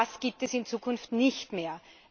Das gibt es in Zukunft nicht mehr.